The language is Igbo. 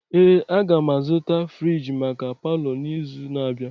Ee, agam azụta friji maka palọ n'izu na-abịa.